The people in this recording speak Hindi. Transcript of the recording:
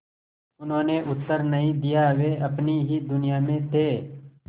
उन्होंने उत्तर नहीं दिया वे अपनी ही दुनिया में थे